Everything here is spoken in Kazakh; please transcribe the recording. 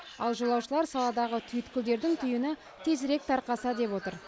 ал жолаушылар саладағы түйткілдердің түйіні тезірек тарқаса деп отыр